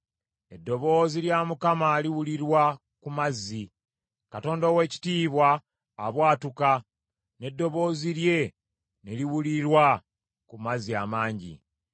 Eddoboozi lya Mukama liwulirwa ku mazzi; Katonda ow’ekitiibwa abwatuka, n’eddoboozi lye ne liwulirwa ku mazzi amangi.